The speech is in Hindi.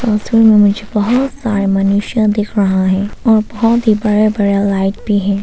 बहुत सारे मनुष्य दिख रहा है और बहुत ही बड़े बड़े लाइट भी हैं।